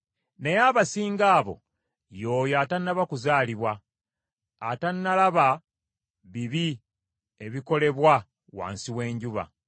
naye abasinga abo, y’oyo atannaba kuzaalibwa, atannalaba bibi obukolebwa wansi w’enjuba.